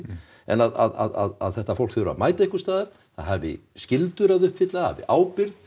en að þetta fólk þurfi að mæta einhvers staðar það hafi skyldur að uppfylla það hafi ábyrgð